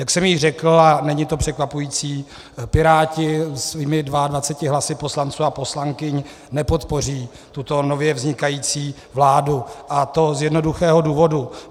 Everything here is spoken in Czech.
Jak jsem již řekl, a není to překvapující, Piráti svými 22 hlasy poslanců a poslankyň nepodpoří tuto nově vznikající vládu, a to z jednoduchého důvodu.